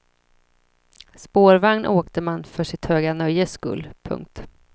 Spårvagn åkte man för sitt höga nöjes skull. punkt